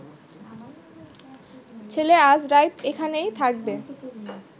ছেলে আইজ রাইত এখানেই থাকবে